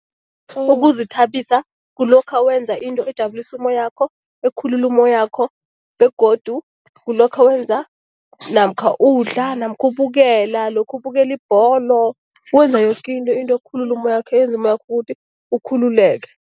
Ukuzithabisa kulokha wenza into ejabulisa umoyakho, ekhululula umoyakho begodu kulokha wenza namkha udla namkha ubukela, lokha ubukela ibholo, wenza yoke into, into ekhulula umoyakho, eyenza umoyakho ukuthi ukhululeke.